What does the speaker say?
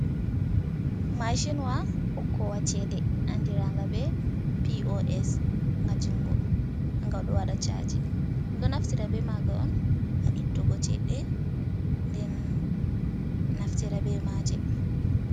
Mashinwa hokkowa cede. Andiranga be P.O.S Nga jungo. gado wada chaaji. Ɗo naftira be maaga on, ha ittugo cheede den naftira be maje.